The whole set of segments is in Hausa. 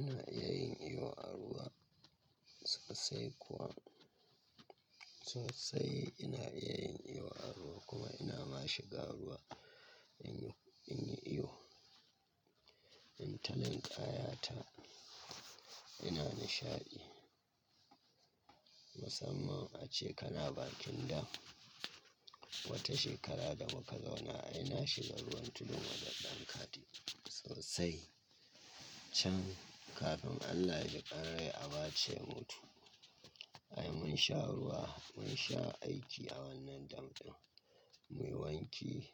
Ina iya yin iyo a ruwa sosai kuwa sosai ina iya yin iyo a ruwa kuma ina ma shiga ruwa in yi, in yi iyo. In ta linkaya ta ina nishaɗi musamman ace kana bakin dam wata shekara da muka zauna ai ina shiga ruwan tudun wadan dan kade sosai can kafin Allah ya jiƙanrai abaca ya mutu. Ai mun sha ruwa, mun sha aiki a wannan dam ɗin muyi wanki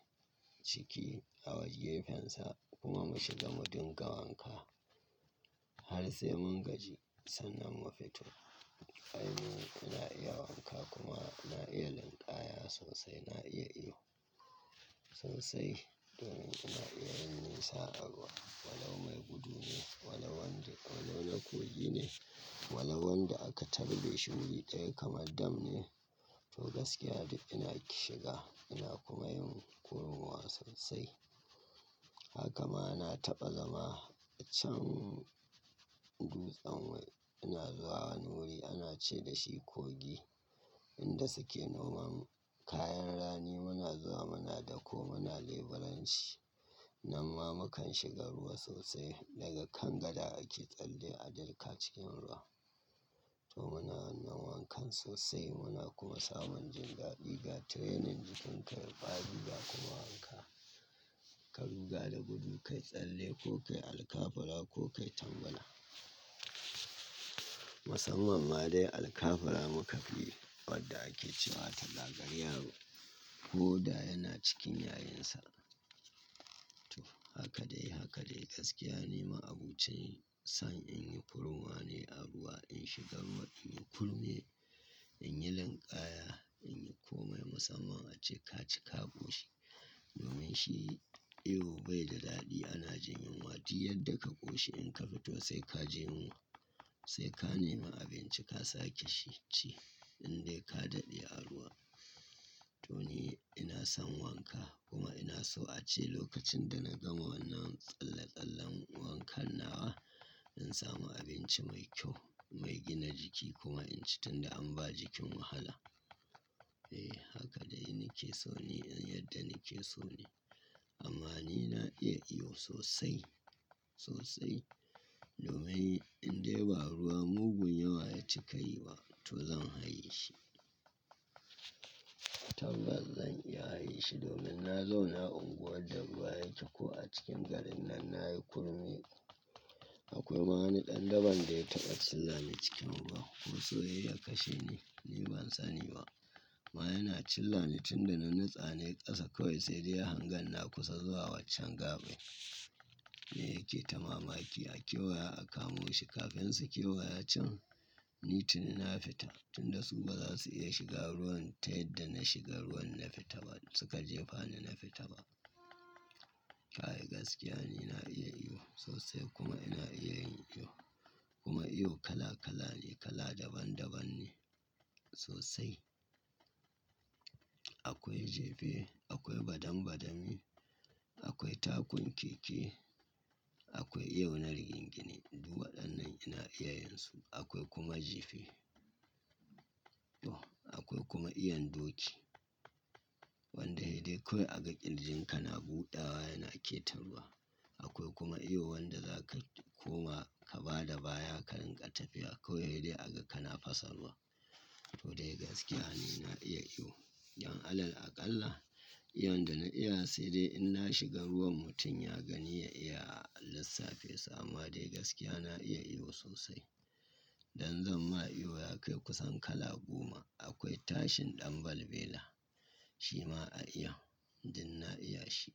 ciki a wajen gefensa kuma mu shiga mu dinga wanka har sai mun gaji sannan mu fito. Ai mun, ina iya wanka kuma ina iya linkaya sosai ina iya iyo sosai domin ina iya yin nisa a ruwa. Walau mai gudu ne, walau, wanda na kogi ne, walau wanda aka tarbe shi wuri ɗaya kamar dam ne to gaskiya dai ina shiga ina kuma yin ruwa sosai. Haka ma na taɓa zama can dutsen wai ina zuwa wani wuri ana ce da shi kogi inda suke noma kayan rani muna zuwa muna dako muna leburanci. Nan ma mukan shiga ruwa sosai daga kan gada ake tsalle a dilka cikin ruwa to muna nan wankan sosai muna kuma samun jindadi ga training jikin ka yai kwari ga kuma wanka. Ka ruga da gudu ka yi tsalle ko ka yi alkafura ko ka yi tangala. Musamman ma dai alkafala muka fi wadda ake cewa ta gagari yaro ko da yana cikin yayinsa. To, haka dai haka dai gaskiya ne ma abun cen san in yi kuruwa ne a ruwa in shigar, in yi kurme in yi linkaya in yi kome musamman ace ka ci ka ƙoshi domin shi iyo bai da daɗi ana jemin wati yadda ka ƙoshi in ka fito sai ka je yunwa sai ka nema abinci ka sake ci indai ka daɗe a ruwa. To ni ina son wanka kuma ina so ace lokacin da na gama wannan tsalle-tsallen wankan nawa in samu abinci mai kyau mai gina jiki kuma in ci tunda an ba jikin wahala. Eh haka dai nake so ne in yadda nake so ne amma ni na iya iyo sosai sosai domin indai ba ruwa mugun yawa ya cika yi wa to zan haye shi. Tabbas zan iya haye shi domin na zauna unguwar da ruwa yake ko a cikin garin nan na yi kurme akwai ma wani ɗan daban dai taɓa cilla ni cikin ruwa ko so yayi ya kashe ni ni ban sani ba. Ma yana cilla ni tunda na nitsa nayi ƙasa kawai sai dai ya hangan na kusa zuwa waccan gaɓan ne yake ta mamaki a kewaya a kamo shi kafin su kewaya can. Ka ruga da gudu ka yi tsalle ko ka yi alkafura ko ka yi tangala. Ai gaskiya ni na iya yi sosai, kuma na iya yi kuma yin kala-kala ne, kala daban daban ne sosai. Akwai jife akwai badam badami akwai takun keke akwai yauna rigingini du wa dannan ina iya yinsu akwai kuma jifi. To akwai kuma iyon doki wanda dai sai dai kawai aka ƙirjinka na buɗawa yana ƙeta ruwa akwai kuma iyo wanda zaka koma ka bada baya ka rinƙa tafiya kawai sai dai aga kana fasa ruwa. To dai gaskiya ni ina iya iyo. Don Allah aƙalla iyon da na iya sai dai in na shiga ruwan mutum ya gani ya iya a lissafi sa amma dai gaskiya na iya iyo sosai. Dan zan ma iyo ya kai kusan kala goma akwai tashin ɗan balbela shi ma a iya din na iya shi.